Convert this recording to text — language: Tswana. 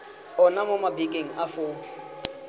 ona mo mabakeng a foo